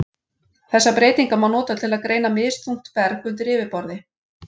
Þessar breytingar má nota til að greina misþungt berg undir yfirborði.